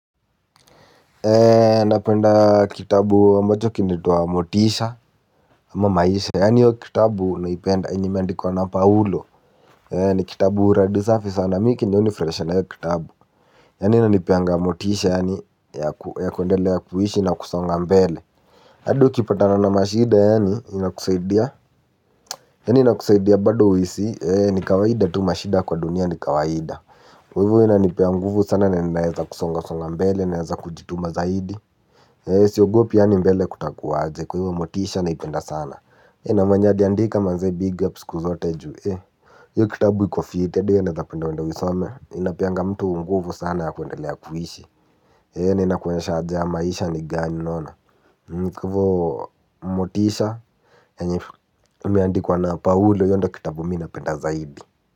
Napenda kitabu ambacho kinaitwa Motisha. Ama maisha yaani hiyo kitabu naipenda yenye imeandikwa na paulo ni kitabu uradi safi sana mimi chenye hunifurahisha na hiyo kitabu yaani inanipeanga motisha yaani ya kuendelea kuishi na kusonga mbele hadi ukipatana na mashida yaani inakusaidia yaani inakusaidia bado uhisi ni kawaida tu mashida kwa dunia ni kawaida. Kwa hivyo huwa inanipea nguvu sana na ninaweza kusonga kusonga mbele naweza kujituma zaidi. Siogopi yaani mbele kutakuwa aje kwa hivyo Motisha naipenda sana. Na mwenye aliandika manze big up siku zote juu. Hiyo kitabu iko fiti. Hadi wewe naweza penda uende uisome. Inapeanga mtu nguvu sana ya kuendelea kuishi. Na inakuonyesha haja ya maisha ni gani unaona kwa hivyo Motisha yenye imeandikwa na paulo hiyo ndiyo kitabu mimi napenda zaidi.